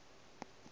go ka se be le